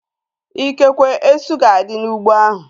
Ikekwe, esu ga-adị n'ụgbọ ahu